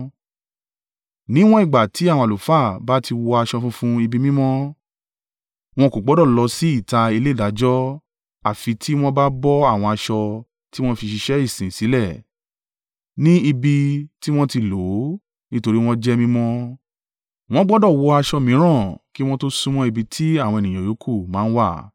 Níwọ̀n ìgbà tí àwọn àlùfáà bá ti wọ aṣọ funfun ibi mímọ́, wọn kò gbọdọ̀ lọ sí ìta ilé ìdájọ́ àfi tí wọ́n bá bọ àwọn aṣọ tí wọ́n fi ṣiṣẹ́ ìsin sílẹ̀ ní ibi tí wọn tí lò ó, nítorí wọ́n jẹ́ mímọ́. Wọn gbọdọ̀ wọ aṣọ mìíràn kí wọn tó súnmọ́ ibi tí àwọn ènìyàn yòókù máa ń wà.”